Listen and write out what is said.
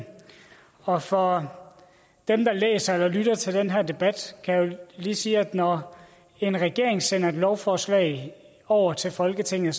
og for dem der læser eller lytter til den her debat kan jeg lige sige at når en regering sender et lovforslag over til folketinget